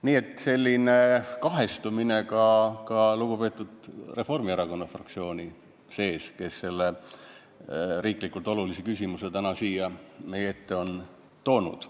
Nii et selline kahestumine on ka lugupeetud Reformierakonna fraktsiooni sees, kes on selle olulise tähtsusega riikliku küsimuse täna siia meie ette toonud.